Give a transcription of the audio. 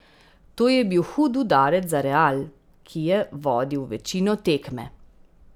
To je bil hud udarec za Real, ki je vodil večino tekme.